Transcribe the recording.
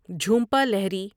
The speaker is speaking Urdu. جھومپا لاہری